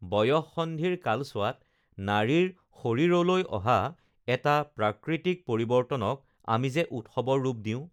বয়ঃসন্ধিৰ কালছোৱাত নাৰীৰ শৰীৰলৈ অহা এটা প্ৰাকৃতিক পৰিৱৰ্তনক আমি যে উৎসৱৰ ৰূপ দিওঁ